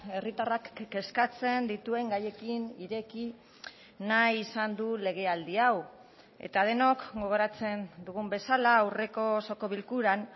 herritarrak kezkatzen dituen gaiekin ireki nahi izan du legealdi hau eta denok gogoratzen dugun bezala aurreko osoko bilkuran